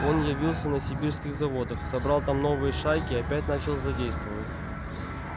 он явился на сибирских заводах собрал там новые шайки и опять начал злодействовать